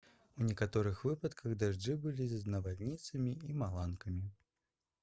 у некаторых выпадках дажджы былі з навальніцамі і маланкамі